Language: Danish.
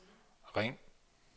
ring